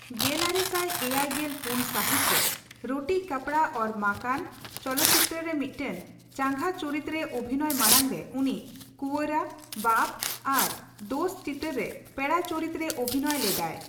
ᱜᱮᱞᱟᱨᱮ ᱥᱟᱭ ᱮᱭᱟᱭ ᱜᱮᱞ ᱯᱩᱱ ᱥᱟᱹᱦᱤᱛᱨᱮ 'ᱨᱳᱴᱤ ᱠᱟᱯᱲᱟ ᱚᱣᱭᱚᱨ ᱢᱟᱠᱟᱱ' ᱪᱚᱞᱚᱠᱪᱤᱛᱟᱹᱨᱨᱮ ᱢᱤᱫᱴᱟᱝ ᱪᱟᱸᱜᱟ ᱪᱩᱨᱤᱛ ᱨᱮ ᱚᱵᱷᱤᱱᱚᱭ ᱢᱟᱲᱟᱝ ᱨᱮ ᱩᱱᱤ 'ᱠᱩᱸᱣᱟᱨᱟ', ;ᱵᱟᱯ' ᱟᱨ 'ᱫᱳᱥᱛᱚ' ᱪᱤᱛᱟᱹᱨ ᱨᱮ ᱯᱮᱲᱟ ᱪᱚᱨᱤᱛ ᱨᱮ ᱚᱵᱷᱤᱱᱚᱭ ᱞᱮᱫᱟᱭ ᱾